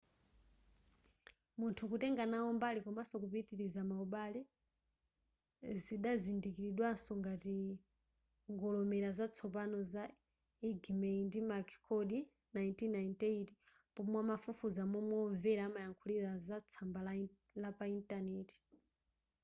munthu kutenga nawo mbali” komanso kupitiliza maubale” zidazindikiridwanso ngati ngolomera za tsopano za eighmey ndi mccord 1998 pomwe amafufuza momwe omvera amayankhulira za tsamba la pa internet